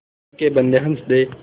अल्लाह के बन्दे हंस दे